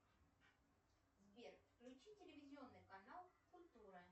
сбер включи телевизионный канал культура